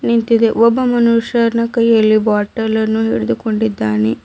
ನಿಂತಿದೆ ಒಬ್ಬ ಮನುಷ್ಯನ ಕೈಯಲ್ಲಿ ಬಾಟಲನ್ನು ಹಿಡಿದುಕೊಂಡಿದ್ದಾನೆ.